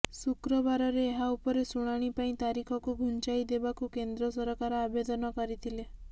ଶୁକ୍ରବାରରେ ଏହା ଉପରେ ଶୁଣାଣି ପାଇଁ ତାରିଖକୁ ଘୁଞ୍ଚାଇ ଦେବାକୁ କେନ୍ଦ୍ର ସରକାର ଆବେଦନ କରିଥିଲେ